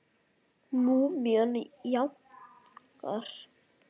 Múmían jánkar.